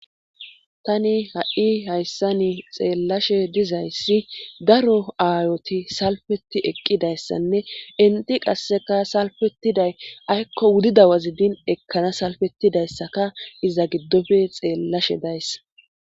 Tani ha7i hayssani xeellashe dizayssi daro aayoti salfeti eqqidayssanne inti qasseka salfetiday aykko wudidawazi din ekkana salfettidayssaka iza giddofe xeellashe dayssa.